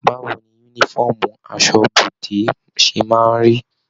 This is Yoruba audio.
Báwo ní yúnífọ̀ọ́mù asọ́bọdè ṣe máa n rí?